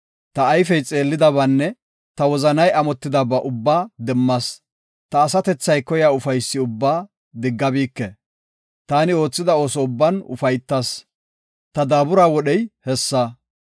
Ta ayfey xeellidabaanne ta wozanay amotidaba ubbaa demmas; ta asatethay koyiya ufaysi ubbaa diggabike. Taani oothida ooso ubban ufaytas; ta daabura wodhey hessa.